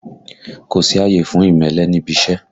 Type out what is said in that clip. Kò sí àyè fún ìmẹ́lẹ́ níbi iṣẹ́!